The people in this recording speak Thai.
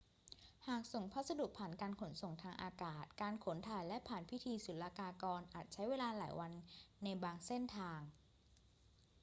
หากส่งพัสดุผ่านการขนส่งทางอากาศ การขนถ่ายและผ่านพิธีศุลกากรอาจใช้เวลาหลายวันในบางเส้นทาง